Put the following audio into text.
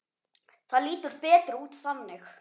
Það lítur betur út þannig.